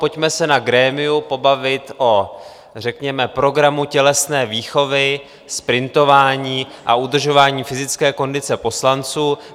Pojďme se na grémiu pobavit o řekněme programu tělesné výchovy, sprintování a udržování fyzické kondice poslanců.